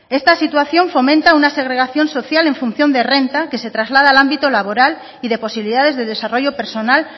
esta situación fomenta una segregación social en función de renta que se traslada al ámbito laboral y de posibilidades de desarrollo personal